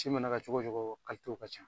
Ci mana kɛ cogo cogo w ka can.